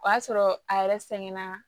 O y'a sɔrɔ a yɛrɛ sɛgɛn na